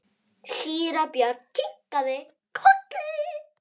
Síra Björn kinkaði kolli.